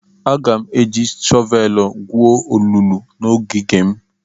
Aga m eji shọvelụ gwuo olulu n'ogige m.